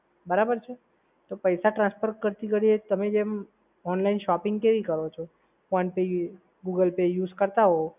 બરાબર છે? તો પૈસા transfer કરતી ઘડીએ તમે જેમ online shopping કેવી કરો છો? phone pay Google pay use કરતાં હોવ